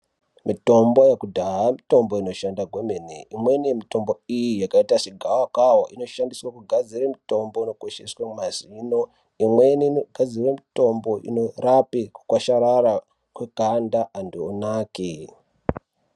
Mitombo yekudhaya mitombo inoshande kwemene imweni yemitombo iyi yakaita segavakava inoshandiswa kugadzira mitombo yekukweshesa mazino imweni inogadzira mitombo inorape kukwasharara kweganda antu onake .